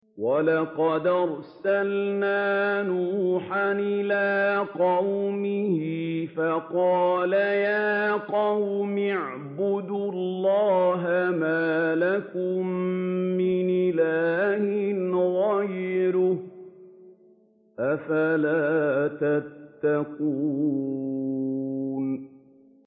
وَلَقَدْ أَرْسَلْنَا نُوحًا إِلَىٰ قَوْمِهِ فَقَالَ يَا قَوْمِ اعْبُدُوا اللَّهَ مَا لَكُم مِّنْ إِلَٰهٍ غَيْرُهُ ۖ أَفَلَا تَتَّقُونَ